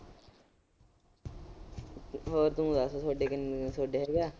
ਹੋਰ ਤੂੰ ਦੱਸ ਤੁਹਾਡੇ ਕ ਤੁਹਾਡੇ ਹੈਗਾ।